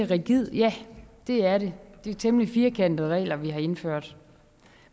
rigid ja det er den det er temmelig firkantede regler vi har indført